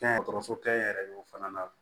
Kɛnɛyaso kɛ n yɛrɛ ye o fana na